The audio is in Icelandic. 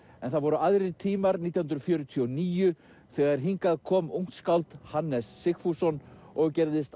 en það voru aðrir tímar nítján hundruð fjörutíu og níu þegar hingað kom ungt skáld Hannes Sigfússon og gerðist